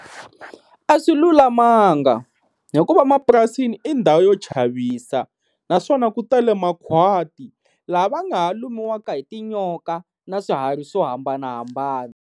A swilulamanga hikuva mapurasini i ndhawu yo chavisa, naswona ku tale makhwati laha va nga ha lumiwaka hi tinyoka na swiharhi swo hambanahambana.